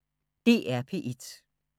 DR P1